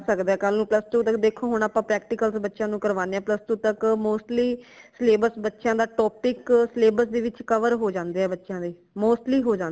ਕਰ ਸਕਦਾ ਹੈ ਕਲ ਤਕ ਹੁਣ plus two ਤਕ ਦੇਖੋ ਹੁਣ ਆਪਾ practical ਬੱਚਿਆਂ ਨੂ ਕਰਵਾਣੇ ਹਾਂ plus two ਤਕ mostly syllabus ਬੱਚਿਆਂ ਦਾ topic syllabus ਦੇ ਵਿਚ cover ਹੋ ਜਾਂਦੇ ਹੈ ਬੱਚਿਆਂ ਦੇ mostly ਹੋਜਾਂਦੇ।